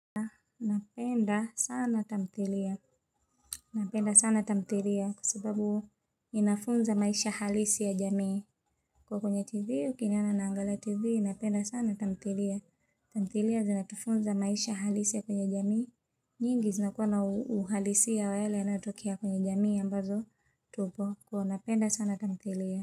Napenda sana tamthilia. Napenda sana tamthilia kwa sababu inafunza maisha halisi ya jamii. Kwa kwenye tv ukiniona naangalia tv napenda sana tamthilia. Tamthilia zinatufunza maisha halisi ya kwenye jamii. Nyingi zinakuwa uhalisi ya yale yanayotokea kwenye jamii ambazo tupo. Kwa napenda sana tamthilia.